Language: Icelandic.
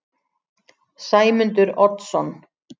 Sæmundur Oddsson